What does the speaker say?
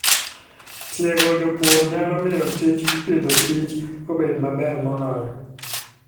Tiego jopur nyalo miyo tij Agriculture and Food obed maber moloyo.